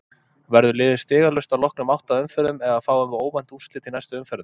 Verður liðið stigalaust að loknum átta umferðum eða fáum við óvænt úrslit í næstu umferðum?